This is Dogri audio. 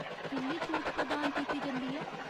किन्नी छूट प्रदान कीती जंदी ऐ ?